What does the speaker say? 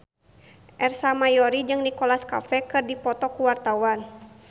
Ersa Mayori jeung Nicholas Cafe keur dipoto ku wartawan